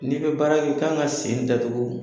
N'i bɛ baara kɛ, i kan ka sen datugu.